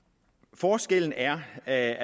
forskellen er at